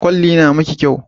Ƙwalli na miki kyau